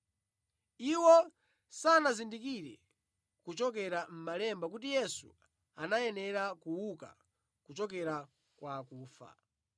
(Iwo sanazindikire kuchokera mʼmalemba kuti Yesu anayanera kuuka kuchokera kwa akufa).